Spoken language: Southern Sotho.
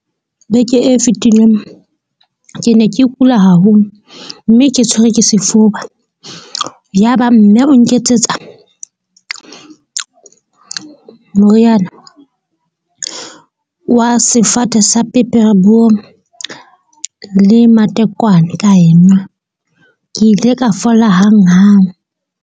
Beke e fetileng ke ne ke kula haholo. Mme ke tshwerwe ke sefuba. Yaba mme o nketsetsa moriana wa sefate sa pepereboom le matekwane ka enwa. Ke ile ka fola hanghang.